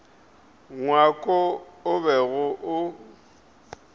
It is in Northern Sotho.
ngwako wo o bego o